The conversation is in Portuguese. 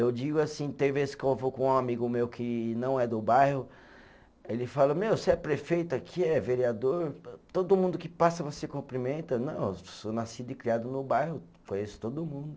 Eu digo assim, tem vez que eu vou com um amigo meu que não é do bairro, ele fala, meu, você é prefeito aqui, é vereador, todo mundo que passa você cumprimenta, não, eu sou nascido e criado no bairro, conheço todo mundo.